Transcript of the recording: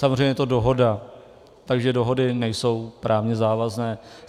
Samozřejmě je to dohoda, takže dohody nejsou právně závazné.